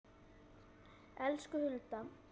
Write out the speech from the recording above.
Elsku Hulda.